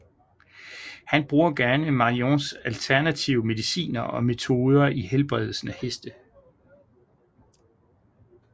Han bruger gerne Marions alternative mediciner og metoder i helbredelsen af heste